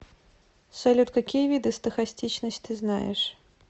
салют какие виды стохастичность ты знаешь